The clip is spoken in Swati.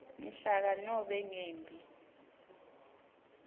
mhlaka nobe ngembi